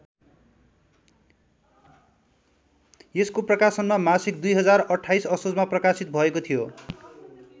यसको प्रकाशनमा मासिक २०२८ असोजमा प्रकाशित भएको थियो।